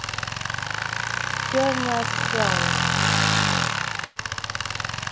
Hafði það áhrif á að formaður og stjórnarmennirnir þrír hættu?